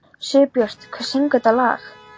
Sigurbjört, hver syngur þetta lag?